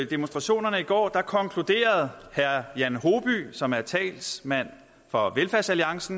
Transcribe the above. demonstrationerne i går konkluderede jan hoby som er talsmand for velfærdsalliance